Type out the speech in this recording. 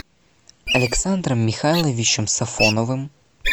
александром михайловичем сафоновым